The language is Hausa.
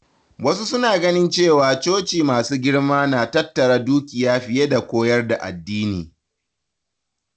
Wasu suna ganin cewa coci masu girma na tattara dukiya fiye da koyar da addini.